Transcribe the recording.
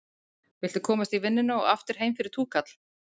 Viltu komast í vinnuna og aftur heim fyrir túkall?